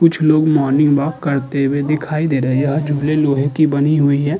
कुछ लोग morning walk करते हुए दिखाई दे रहे हैं। यह झूले लोहे की बनी हुई है।